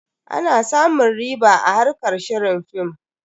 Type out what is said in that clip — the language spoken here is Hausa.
Ana samun riɓa a harkar shirin film.